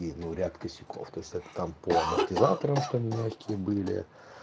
и ну ряд косяков то есть это там по амортизаторам что они мягкие были